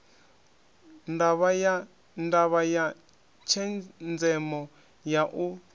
ndavha ya tshenzemo ya u